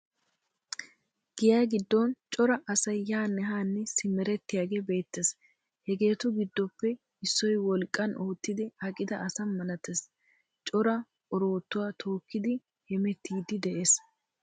Giya giddon cora asay yaanne haanne simerettiyagee beettees. Hegeetu giddoppe issoy wolqqan oottidi aqida asa milatees cora oroottuwa tookkidi hemettiiddi de'ees.